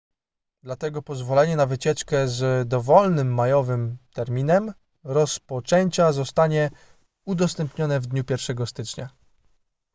dlatego pozwolenie na wycieczkę z dowolnym majowym terminem rozpoczęcia zostanie udostępnione w dniu 1 stycznia